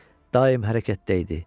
çünki daim hərəkətdə idi.